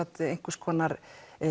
eins konar